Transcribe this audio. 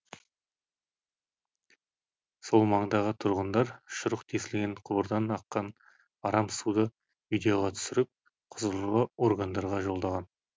сол маңдағы тұрғындар шұрық тесілген құбырдан аққан арам суды видеоға түсіріп құзырлы органдарға жолдаған